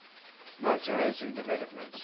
motor racing developments